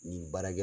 Nin baara kɛ